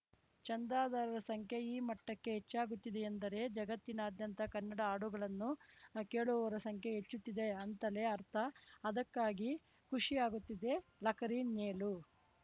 ಚಂದಾದಾರರ ಸಂಖ್ಯೆ ಈ ಮಟ್ಟಕ್ಕೆ ಹೆಚ್ಚಾಗುತ್ತಿದೆಯೆಂದರೆ ಜಗತ್ತಿನಾದ್ಯಂತ ಕನ್ನಡ ಹಾಡುಗಳನ್ನು ಕೇಳುವವರ ಸಂಖ್ಯೆ ಹೆಚ್ಚುತ್ತಿದೆ ಅಂತಲೇ ಅರ್ಥ ಅದಕ್ಕಾಗಿ ಖುಷಿ ಆಗುತ್ತಿದೆಲಕರಿ ಮೇಲು